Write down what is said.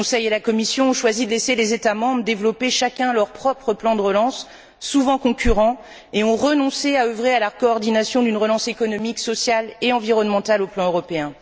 Le Conseil et la Commission ont choisi de laisser les États membres développer leurs propres plans de relance, souvent concurrents, et ont renoncé à œuvrer à la coordination d'une relance économique, sociale et environnementale au niveau européen.